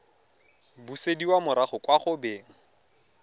busediwa morago kwa go beng